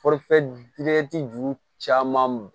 juru caman